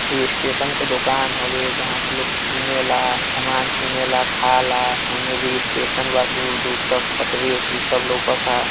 ई स्टेशन के दोकान हवे जहाँ से लोग कीनेला सामान कीनेला खाला होने भी स्टेशन बा दूर-दूर तक पटरी वटरी सब लउकता।